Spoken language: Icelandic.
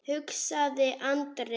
hugsaði Andri.